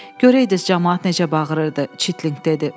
“Görəydiniz camaat necə bağırırdı”, Çitlinq dedi.